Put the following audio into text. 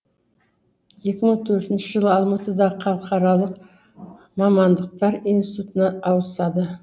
екі мың төртінші жылы алматыдағы халықаралық мамандықтар институтына ауысады